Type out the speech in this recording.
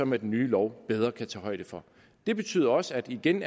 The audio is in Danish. med den nye lov bedre kan tage højde for det betyder også at der igen